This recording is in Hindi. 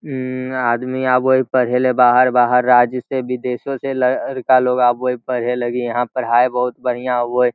इम्म आदमी आवोय पढलेय बाहर बाहर राज्य से विदेशो से लड़का लोग आवोय पढ़े लगीं यहाँ पढ़ाईं बहुत बढ़ियां होयं।